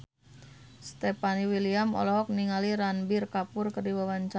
Stefan William olohok ningali Ranbir Kapoor keur diwawancara